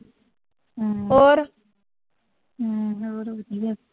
ਹਮ ਹੋਰ ਵਧੀਆ